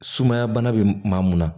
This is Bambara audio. Sumaya bana bɛ maa mun na